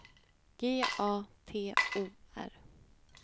G A T O R